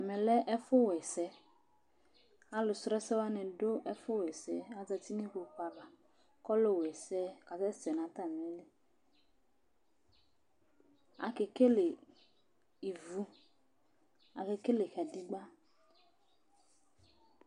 Ɛmɛ lɛ ɛfu wa ɛsɛ Alu su ɛsɛwani du ɛfu wa ɛsɛ Aza uti nu kpokpu ava Ku ɔlu wa ɛsɛ kasɛsɛ nu atami iili Akekele ivu Akekele kadegba